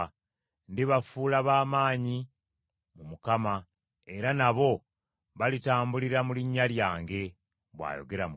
Ndibafuula ba maanyi mu Mukama era nabo balitambulira mu linnya lyange,” bw’ayogera Mukama .